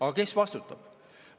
Aga kes vastutab?